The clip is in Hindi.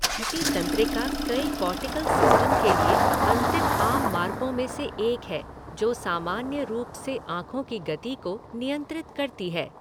छठी तंत्रिका कई कॉर्टिकल सिस्टम के लिए अंतिम आम मार्गों में से एक है जो सामान्य रूप से आँखों की गति को नियंत्रित करती है।